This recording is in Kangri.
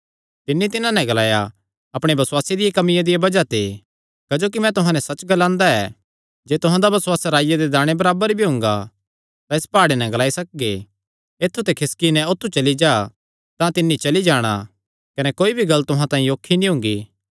तिन्नी तिन्हां नैं ग्लाया अपणे बसुआसे दी कमिया दिया बज़ाह ते क्जोकि मैं तुहां नैं सच्च ग्लांदा ऐ जे तुहां दा बसुआस राईया दे दाणे बराबर भी हुंगा तां इस प्हाड़े नैं ग्लाई सकगे ऐत्थु ते खिसकी नैं औत्थू चली जा तां तिन्नी चली जाणा कने कोई भी गल्ल तुहां तांई औखी नीं हुंगी